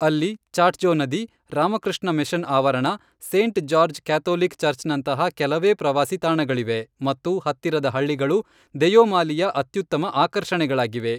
ಅಲ್ಲಿ ಚಾಟ್ಜೋ ನದಿ, ರಾಮಕೃಷ್ಣ ಮಿಷನ್ ಆವರಣ, ಸೇಂಟ್ ಜಾರ್ಜ್ ಕ್ಯಾಥೋಲಿಕ್ ಚರ್ಚ್ನಂತಹ ಕೆಲವೇ ಪ್ರವಾಸಿ ತಾಣಗಳಿವೆ ಮತ್ತು ಹತ್ತಿರದ ಹಳ್ಳಿಗಳು ದೆಯೋಮಾಲಿಯ ಅತ್ಯುತ್ತಮ ಆಕರ್ಷಣೆಗಳಾಗಿವೆ.